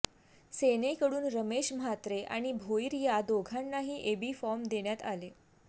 सेनेकडून रमेश म्हात्रे आणि भोईर या दोघांनाही एबी फॉर्म देण्यात आले